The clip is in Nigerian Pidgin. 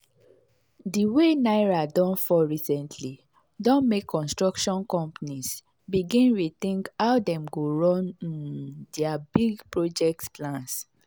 the way naira don fall recently don make construction companies begin rethink how dem go run um their big project plans.